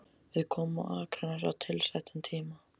Við komum á Akranes á tilsettum tíma.